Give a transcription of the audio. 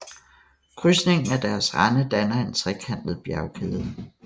Krydsningen af deres rande danner en trekantet bjergkæde